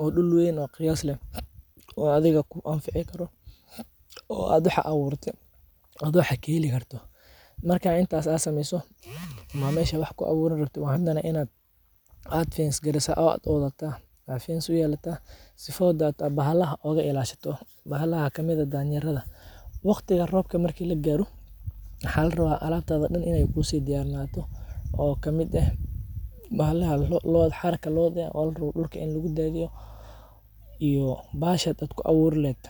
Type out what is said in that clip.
oo dull wen o qiyas leh oo athiga ku anfici karo oo athiga waxaad aburatee oo aad wax kaheli karto, marka intas aa sameyso waa meshi wax ku aburan leheed waina aad fence garesa oo aad o dataa, sifo bahalaha oga ilashato, bahalaha waxa kamiid ah danyerada, waqtiga roobka marki lagaro maxaa larawa alabtaada Dan in ee ku si diyarsanato, o kamiid eh bahalaha xarka Looda, in dulka lagu dathiyo, iyo bahashaad ku aburi leheed.